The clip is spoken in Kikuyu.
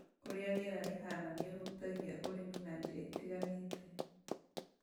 ũrĩa rĩera rĩhana nĩũhutagia ũrĩmi na njĩra itiganĩte